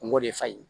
Kungo de fa ye